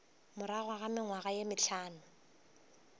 morago ga mengwaga ye mehlano